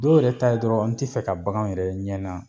Dɔw yɛrɛ ta dɔrɔn an t'i fɛ ka baganw yɛrɛ ye n ɲɛ na